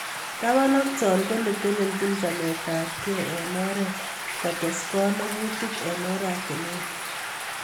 Taban ak Cho ko netelechin chametabgei eng oret kotes konogutik eng oratinwek